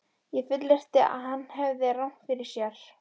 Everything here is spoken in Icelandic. Ég fullyrti, að hann hefði rangt fyrir sér.